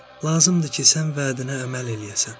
"Lazımdır ki, sən vədinə əməl eləyəsən,"